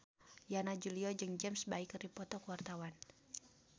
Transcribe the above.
Yana Julio jeung James Bay keur dipoto ku wartawan